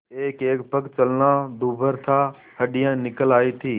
एकएक पग चलना दूभर था हड्डियाँ निकल आयी थीं